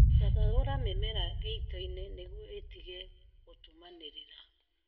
Thathaura mĩmera gĩitoinĩ nĩguo ĩtige gũtumanĩrĩra